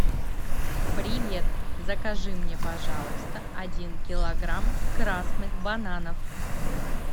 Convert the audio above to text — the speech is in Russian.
привет закажи мне пожалуйста один килограмм красных бананов